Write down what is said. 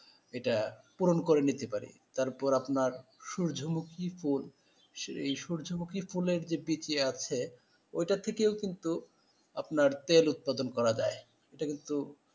এটা পূরণ করে নিতে পারি তারপর আপনার সূর্যমুখী ফুল এই সূর্যমুখী ফুলের যে বীজ আছে ওটা থেকেও কিন্তু আপনার তেল উৎপাদন করা যায় এটা কিন্তু,